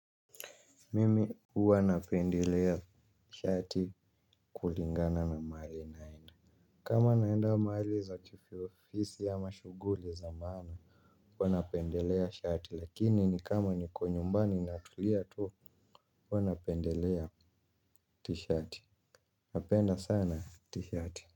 Mimi uwanapendelea t-shirt kulingana na maali naenda. Kama naenda maali za kiofisi ama shuguli zamana huwanapendelea shirt lakini ni kama ni konyumbani natulia tu. Wanapendelea t-shirt. Napenda sana t-shirt.